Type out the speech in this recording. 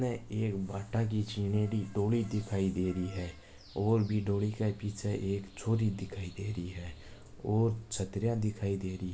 इनमे एक भाटा की छिंयोडी डोली दिखाय दे रही है और डोली के पीछे एक छोरी दिखाय दे ही है और छत्रीयां दिखाय दे रही है।